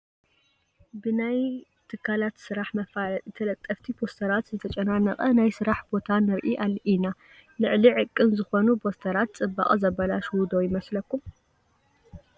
ብናይ ናይ ትካላት ስራሕ መፋለጢ ተለጠፍቲ ፖስተራት ዝተጨናነቐ ናይ ስራሕ ቦታ ንርኢ ኢና፡፡ ልዕሊ ዕቕን ዝኾኑ ፖስተራት ፅባቐ ዘበላሽዉ ዶ ኣይመስለኩምን?